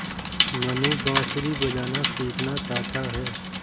मनु बाँसुरी बजाना सीखना चाहता है